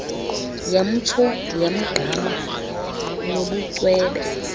yamtsho wagqama nobucwebe